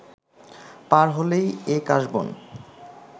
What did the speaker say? পার হলেই এ কাশবন